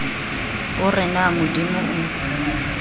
o re na modimo o